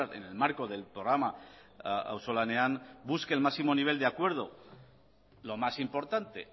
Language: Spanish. en el marco del programa auzolanean busque el máximo nivel de acuerdo lo más importante